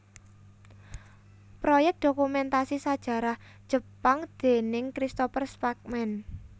Proyèk Dokumentasi Sajarah Jepang déning Christopher Spackman